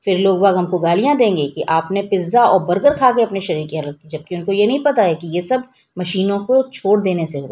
फिर लोग भाग हमको गालियां देंगे कि आपने पिज्जा और बर्गर खाके अपने शरीर की हालत जबकि उनको ये नहीं पता है कि ये सब मशीनों को छोड़ देने से हो--